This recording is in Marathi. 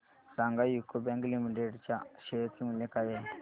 सांगा यूको बँक लिमिटेड च्या शेअर चे मूल्य काय आहे